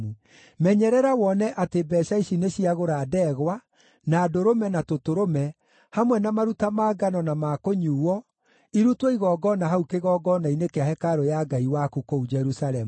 Menyerera wone atĩ mbeeca ici nĩciagũra ndegwa, na ndũrũme na tũtũrũme, hamwe na maruta ma ngano na ma kũnyuuo, irutwo igongona hau kĩgongona-inĩ kĩa hekarũ ya Ngai waku kũu Jerusalemu.